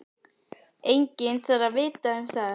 Enginn þarf að vita um það.